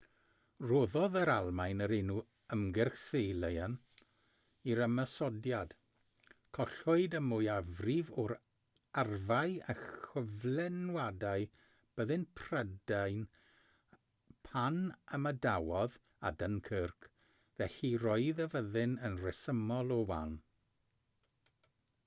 rhoddodd yr almaen yr enw ymgyrch sealion i'r ymosodiad collwyd y mwyafrif o arfau a chyflenwadau byddin prydain pan ymadawodd â dunkirk felly roedd y fyddin yn rhesymol o wan